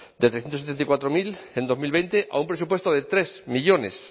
de trescientos setenta y cuatro mil en dos mil veinte a un presupuesto de tres millónes